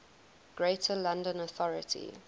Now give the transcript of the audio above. greater london authority